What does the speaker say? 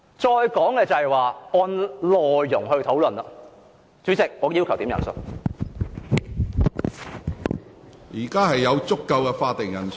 再者，按內容來討論......主席，我要求點算法定人數。